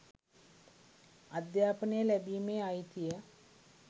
අධ්‍යාපනය ලැබීමේ අයිතිය